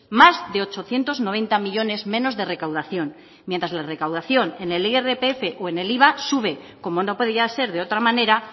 más de ochocientos noventa millónes menos de recaudación mientras la recaudación en el irpf o el iva sube como no podía ser de otra manera